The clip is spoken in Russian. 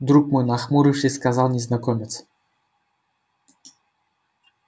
друг мой нахмурившись сказал незнакомец